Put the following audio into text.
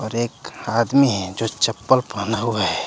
एक आदमी है जो चप्पल पहना हुआ है।